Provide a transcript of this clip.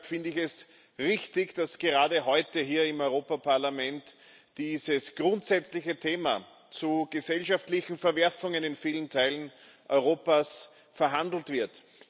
Deshalb finde ich es richtig, dass gerade heute hier im Europäischen Parlament dieses grundsätzliche Thema zu gesellschaftlichen Verwerfungen in vielen Teilen Europas verhandelt wird.